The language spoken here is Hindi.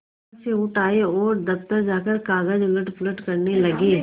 यहाँ से उठ आये और दफ्तर जाकर कागज उलटपलट करने लगे